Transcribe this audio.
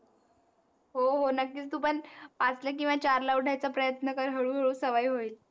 हो हो, नक्कीच. तू पण पाच ला किवा चार ला उठायच प्रयत्न कर हळूहळू सवय होईल.